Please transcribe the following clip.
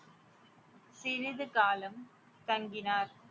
சிறிது காலம் தங்கினார்